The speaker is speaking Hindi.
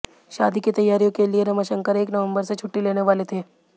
शादी की तैयारियों के लिए रमाशंकर एक नवंबर से छुट्टी लेने वाले थे